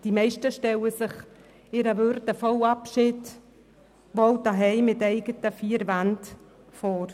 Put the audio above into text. Die meisten stellen sich ihren würdevollen Abschied wohl daheim in den eigenen vier Wänden vor.